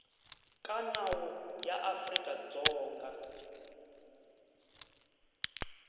ka nawu ya afrika dzonga